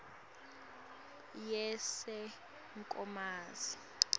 yasenkomazi